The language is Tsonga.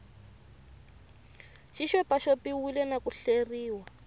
xi xopaxopiwile na ku hleriwa